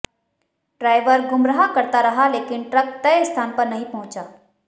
driver गुमराह करता रहा लेकिन ट्रक तय स्थान पर नहीं पहुंचा